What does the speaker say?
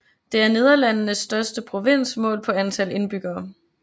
Det er Nederlandenes største provins målt på antal indbyggere